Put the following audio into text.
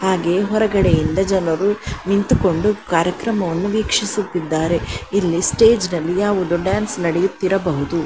ಹಾಗೆ ಹೊರಗಡೆಯಿಂದ ಜನರು ನಿಂತುಕೊಂಡು ಕಾರ್ಯಕ್ರಮವನ್ನು ವೀಕ್ಷಿಸುತ್ತಿದ್ದಾರೆ. ಇಲ್ಲಿ ಸ್ಟೇಜ್ನಲ್ಲಿ ಯಾವುದೊ ಡ್ಯಾನ್ಸ್ ನಡೆಯುತ್ತಿರಬಹುದು.